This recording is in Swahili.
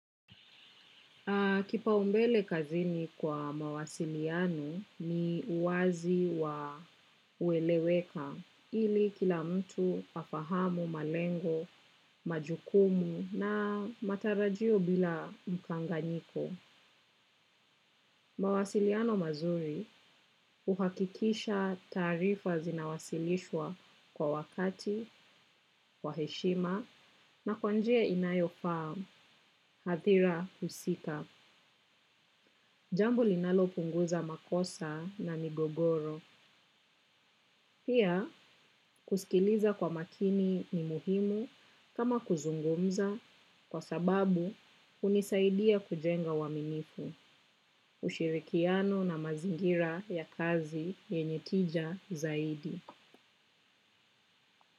Kipaumbele kazini kwa mawasiliano ni uwazi wa ueleweka ili kila mtu pafahamu, malengo, majukumu na matarajio bila mkanganyiko. Mawasiliano mazuri huhakikisha taarifa zinawasilishwa kwa wakati, kwa heshima na kwa njeia inayofaa, hathira husika. Jambo linalopunguza makosa na migogoro. Pia kusikiliza kwa makini ni muhimu kama kuzungumza kwa sababu hunisaidia kujenga uwaminifu, ushirikiano na mazingira ya kazi yenye tija zaidi.